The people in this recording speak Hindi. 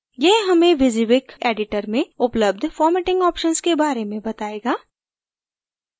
यह हमें wysiwyg editor में उपलब्ध formatting options के बारे में बतायेगा